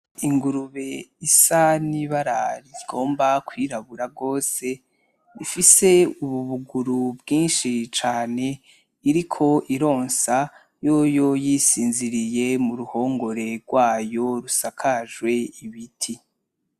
Ingurube isa n'ibara rigomba kwirabura gose, ifise ububuguru bwinshi cane, iriko ironsa yoyo yisinziririye muruhongore rwayo rusakajw'ibiti.